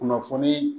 Kunnafonii